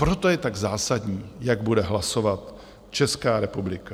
Proto je tak zásadní, jak bude hlasovat Česká republika.